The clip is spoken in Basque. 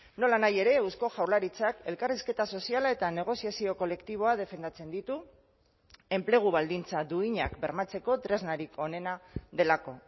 nolanahi ere eusko jaurlaritzak elkarrizketa soziala eta negoziazio kolektiboa defendatzen ditu enplegu baldintza duinak bermatzeko tresnarik onena delako